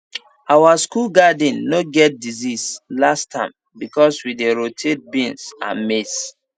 our school garden no get disease last term because we dey rotate beans and maize